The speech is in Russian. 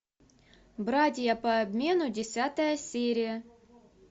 братья по обмену десятая серия